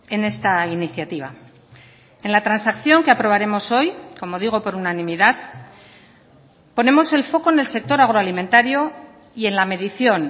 en esta iniciativa en la transacción que aprobaremos hoy como digo por unanimidad ponemos el foco en el sector agroalimentario y en la medición